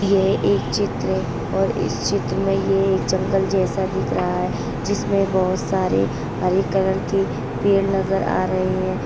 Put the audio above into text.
यह एक चित्र है और इस चित्र में ये एक जंगल जैसा दिख रहा है जिसमे बोहोत सारे हरे कलर के पेड़ नज़र आ रहे हैं।